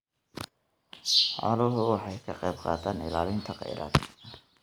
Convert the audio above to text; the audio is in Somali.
Xooluhu waxay ka qaybqaataan ilaalinta kheyraadka.